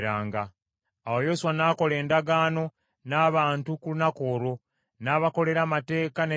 Awo Yoswa n’akola endagaano n’abantu ku lunaku olwo, n’abakolera amateeka n’ebiragiro.